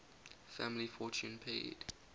family fortune paid